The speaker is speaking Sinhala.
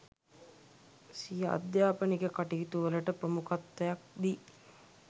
සිය අධ්‍යාපනික කටයුතු වලට ප්‍රමුඛත්වයක් දී